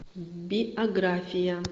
биография